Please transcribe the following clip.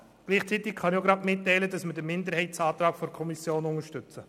Gleichzeitig kann ich Ihnen mitteilen, dass wir den Minderheitsantrag der Kommission unterstützen.